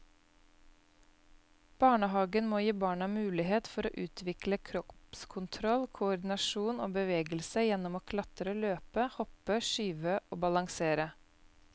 Barnehagen må gi barna mulighet for å utvikle kroppskontroll, koordinasjon og bevegelse gjennom å klatre, løpe, hoppe, skyve og balansere.